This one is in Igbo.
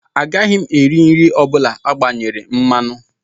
Agaghị m eri nri ọ bụla agbanyere mmanụ